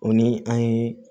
O ni an ye